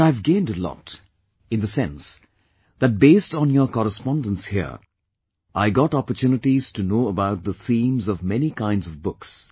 But I have gained a lot, in the sense that based on your correspondence here, I got opportunities to know about the themes of many kinds of books